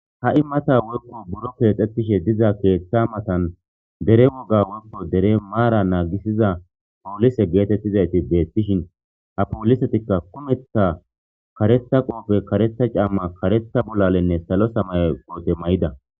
ha7i mata worko buro keexettishe diza keeththa matan dere woga workko dere maara naagisiza poolise geetettizayti deettishin ha poolisetikka kumeththa karetha qoofe karetha camma karetha bolalenne salo samaye qoote may7ida